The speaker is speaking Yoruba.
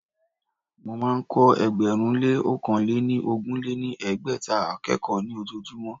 Mo máa ń kọ́ ẹgbẹ̀rún lé ọ̀kan lé ní ogún lé ní ẹgbẹ́ta akẹ́kọ̀ọ́ ní ojojúmọ́